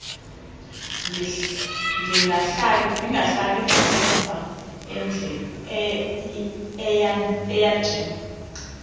ndingahlali ngasemva eyadini